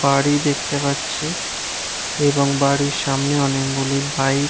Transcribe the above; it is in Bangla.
বাড়ি দেখতে পাচ্ছি। এবং বাড়ির সামনে অনেকগুলি বাইক --